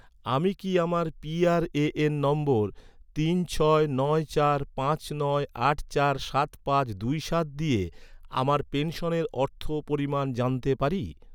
আমি কি আমার পিআরএএন নম্বর তিন ছয় নয় চার পাঁচ নয় আট চার সাত পাঁচ দুই সাত দিয়ে, আমার পেনশনের অর্থ পরিমাণ জানতে পারি?